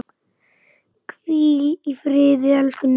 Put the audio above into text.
Hvíl í friði, elsku Ninna.